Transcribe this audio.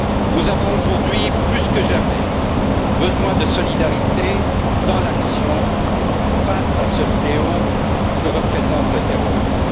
Nous avons aujourd'hui, plus que jamais, besoin de solidarité dans l'action face à ce fléau que représente le terrorisme.